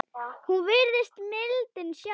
Hún virðist mildin sjálf.